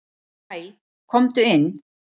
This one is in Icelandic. """Hæ, komdu inn."""